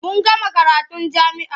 Mun gama karatun jami'a.